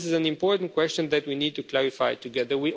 not? This is an important question that we need to clarify together.